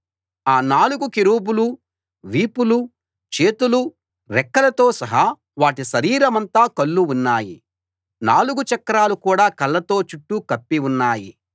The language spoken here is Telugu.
ఆ నాలుగు కెరూబుల వీపులూ చేతులూ రెక్కలతో సహా వాటి శరీరమంతా కళ్ళు ఉన్నాయి నాలుగు చక్రాలు కూడా కళ్ళతో చుట్టూ కప్పి ఉన్నాయి